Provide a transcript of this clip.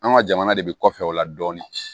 An ka jamana de bi kɔfɛ o la dɔɔnin